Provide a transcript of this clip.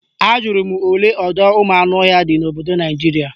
Ajụrụ m olee ọdọụmụanụọhịa dị n'obodo Naijiria